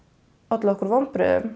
valdið okkur vonbrigðum